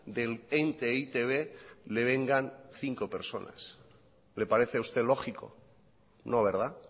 del ente e i te be le vengan cinco personas le parece a usted lógico no verdad